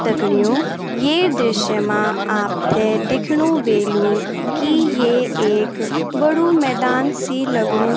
दगडियों ये दृश्य मा आपथे दिख्णु वेलु की ये एक बडू मैदान सी लगणु --